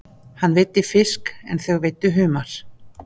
Hann veiddi fisk en þau veiddu humar.